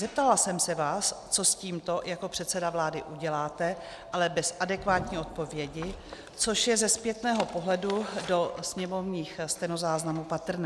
Zeptala jsem se vás, co s tímto jako předseda vlády uděláte, ale bez adekvátní odpovědi, což je ze zpětného pohledu do sněmovních stenozáznamů patrné.